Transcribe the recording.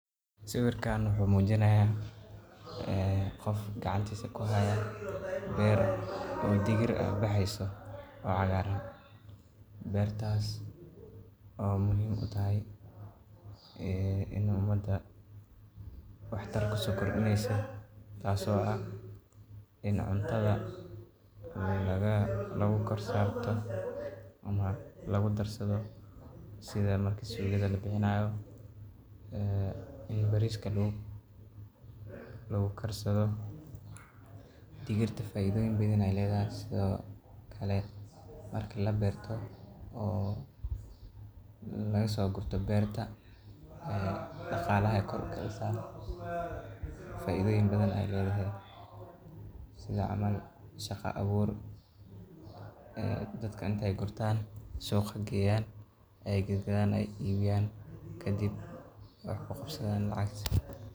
Sawirkan wuxu mujinaya ee qof gacantisa kuhayo beer oo digir ah bexeyso oo cagar ah beertas oo muhim uu tahay een inu umada waxtar kusokordineso taaso ah iin cuntada lagukorsarto ama lagudarsado sida marka suugada labixinayo ee iin bariska lagukarsado digirta faidoyin badan ee ledahay sido kale marki laberto oo lagasoogurto berta ee daqalaha kor ukacisa faidoyin badan ee ledahay sidaa cml shaqa abur een dadka intey gurtan suqa geeyan ey gadgadaan ey ibiyan kadib wax kuqabsadan lacagta.